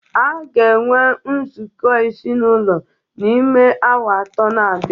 A ga-enwe nzukọ ezinụlọ n’ime awa atọ na-abịa